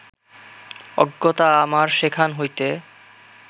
অগ্যতা আমার সেখান হইতে